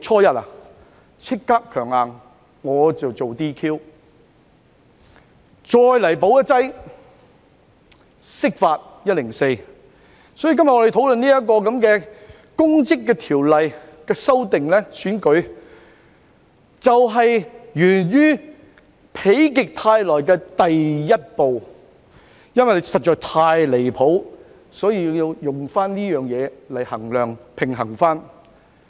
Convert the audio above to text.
因此，我們今天討論《2021年公職條例草案》，就是否極泰來的第一步，因為事情實在太離譜，所以要這樣做來平衡。